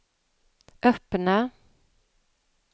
öppna